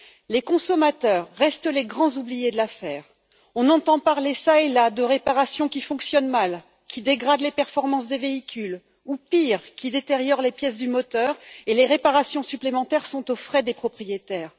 Les consommateurs restent les grands oubliés de l'affaire, on entend parler ça et là de réparations qui fonctionnent mal, qui dégradent les performances des véhicules ou, pire, qui détériorent les pièces du moteur, et les réparations supplémentaires sont aux frais des propriétaires.